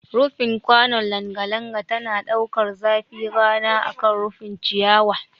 Rufin kwanon langa langa tana ɗaukar zafin rana akan rufin ciyawa